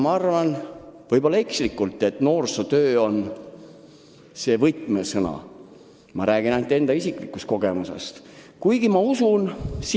Ma räägin ainult enda isikulikust kogemusest, aga arvan – võib-olla ekslikult –, et noorsootöö on see võtmesõna.